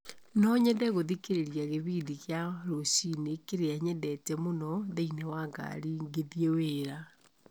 no nyende gũthikĩrĩria gĩbindi kĩa rũciini kĩrĩa nyendete mũno thĩiniĩ wa ngaari ngĩthiĩ wĩra